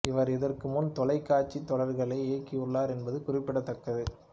இவர் இதற்கு முன் தொலைக்காட்சி தொடர்களை இயக்கியுள்ளார் என்பது குறிப்பிடத்தக்கது